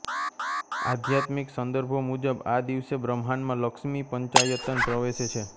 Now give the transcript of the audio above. આધ્યાત્મિક સંદર્ભો મુજબ આ દિવસે બ્રહ્માંડમાં લક્ષ્મીપંચાયતન પ્રવેશે છે